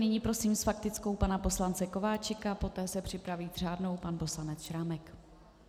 Nyní prosím s faktickou pana poslance Kováčika, poté se připraví s řádnou pan poslanec Šrámek.